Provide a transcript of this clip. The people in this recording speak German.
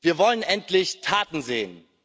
Wir wollen endlich Taten sehen!